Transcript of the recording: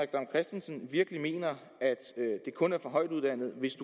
dam kristensen virkelig mener at det kun er for højtuddannede hvis